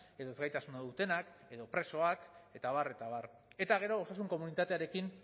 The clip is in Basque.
edo ezgaitasuna dutenak edo presoak eta abar eta abar eta gero osasun komunitatearekin